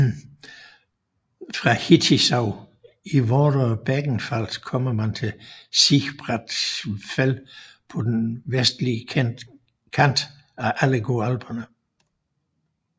Fra Hittisau i Vorderer Bregenzerwald kommer man til Sibratsgfäll på den vestlige kant af Allgäu Alperne